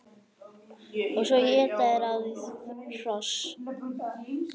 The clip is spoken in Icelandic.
Og svo éta þeir á við hross!